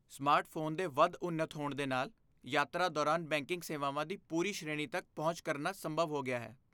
Smartphone ਦੇ ਵਧ ਉੱਨਤ ਹੋਣ ਦੇ ਨਾਲ, ਯਾਤਰਾ ਦੌਰਾਨ ਬੈਂਕਿੰਗ ਸੇਵਾਵਾਂ ਦੀ ਪੂਰੀ ਸ਼੍ਰੇਣੀ ਤੱਕ ਪਹੁੰਚ ਕਰਨਾ ਸੰਭਵ ਹੋ ਗਿਆ ਹੈ।